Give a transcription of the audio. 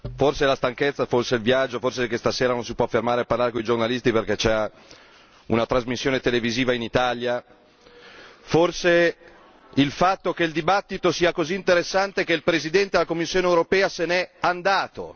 Forse è la stanchezza, forse il viaggio, forse stasera non si può fermare a parlare con i giornalisti perché c'è una trasmissione televisiva in Italia. Forse è il fatto che il dibattito è così interessante che il Presidente della Commissione europea se n'è andato.